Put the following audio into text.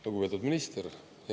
Lugupeetud minister!